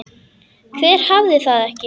Hver hafði það ekki?